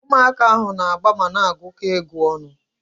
Ụmụaka ahu na-agba mana agukọ egwu ọnụ